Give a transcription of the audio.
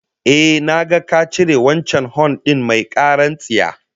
Ehh, na ga ka cire wancan hon din mai karar tsiya